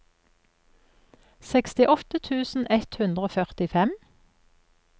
sekstiåtte tusen ett hundre og førtifem